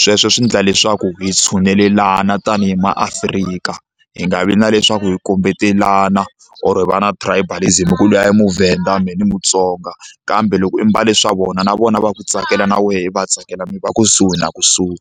sweswo swi endla leswaku hi tshunelelana tanihi maAfrika hi nga vi na leswaku hi kombetelana or hi va na tribalism hi ku luya i muVenda me ni Mutsonga kambe loko i mbale swa vona na vona va ku tsakela na wehe i va tsakela mi va kusuhi na kusuhi.